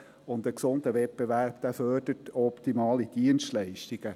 Ein gesunder Wettbewerb fördert optimale Dienstleistungen.